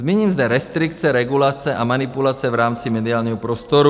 Zmíním zde restrikce, regulace a manipulace v rámci mediálního prostoru.